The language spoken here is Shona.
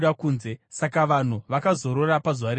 Saka vanhu vakazorora pazuva rechinomwe.